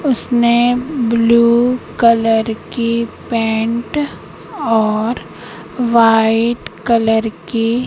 उसने blue colour की pant और वाइट कलर की--